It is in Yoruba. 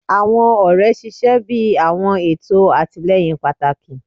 Awọn ọrẹ ṣiṣẹ bi awọn eto atilẹyin pataki